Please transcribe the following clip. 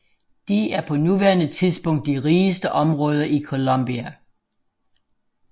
De er på nuværende tidspunkt de rigeste områder i Colombia